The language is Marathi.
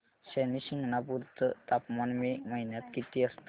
शनी शिंगणापूर चं तापमान मे महिन्यात किती असतं